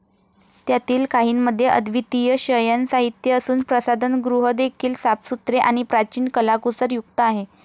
त्यातील काहींमध्ये अव्दितीय शयनसाहित्य असुन, प्रसाधनगृहदेखील साफसुथरे आणि प्राचिन कलाकुसर युक्त आहे.